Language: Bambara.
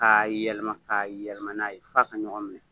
Ka yɛlɛma ka yɛlɛma n'a ye f'a ka ɲɔgɔn minɛ.